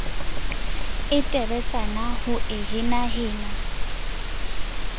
e teletsana ho e henahena